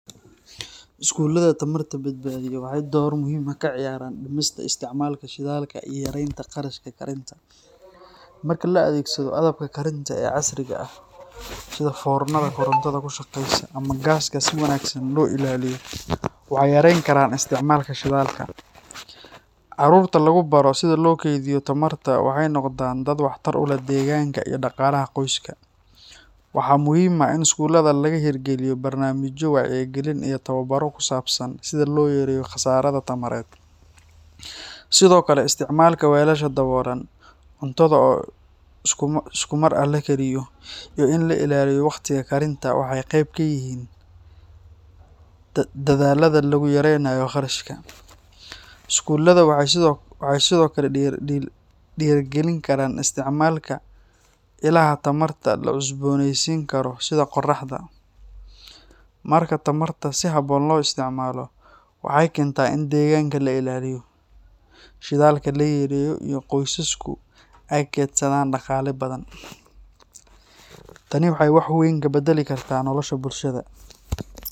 Skoolaadha tamarta badbaadiya waxay door muhiim ah ka ciyaaraan dhimista isticmaalka shidaalka iyo yaraynta qarashka karinta. Marka la adeegsado agabka karinta ee casriga ah sida foornada korontada ku shaqeysa ama gaaska si wanaagsan loo ilaaliyo, waxay yareyn karaan isticmaalka shidaalka. Carruurta lagu baro sida loo kaydiyo tamarta waxay noqdaan dad waxtar u leh deegaanka iyo dhaqaalaha qoyska. Waxaa muhiim ah in skoolaadka laga hirgeliyo barnaamijyo wacyigelin iyo tababaro ku saabsan sida loo yareeyo khasaara tamareed. Sidoo kale, isticmaalka weelasha daboolan, cuntada oo si isku mar ah loo kariyo, iyo in la ilaaliyo waqtiga karinta waxay qayb ka yihiin dadaallada lagu yaraynayo qarashka. Skoolaadha waxay sidoo kale dhiirrigelin karaan isticmaalka ilaha tamarta la cusboonaysiin karo sida qoraxda. Marka tamarta si habboon loo isticmaalo, waxay keentaa in deegaanka la ilaaliyo, shidaalka la yareeyo, iyo qoysasku ay kaydsadaan dhaqaale badan. Tani waxay wax weyn ka beddeli kartaa nolosha bulshada.